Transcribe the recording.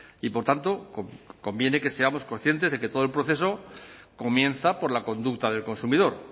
y por tanto conviene que seamos conscientes de que todo el proceso comienza por la conducta del consumidor